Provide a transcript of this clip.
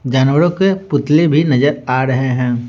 जानवरों के पुतले भी नजर आ रहे हैं।